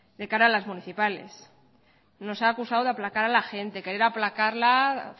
de cara a las municipales nos ha acusado de aplacar a la gente querer aplacarla